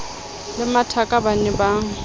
le mathaka ba ne ba